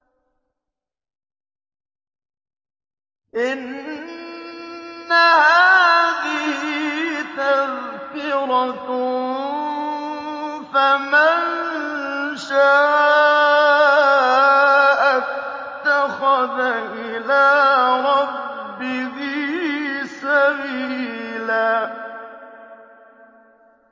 إِنَّ هَٰذِهِ تَذْكِرَةٌ ۖ فَمَن شَاءَ اتَّخَذَ إِلَىٰ رَبِّهِ سَبِيلًا